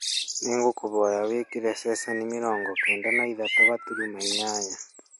nĩ ngũkũhoya wĩkĩte ceceni mĩrongo kenda na ithatũ gaturumo inyanya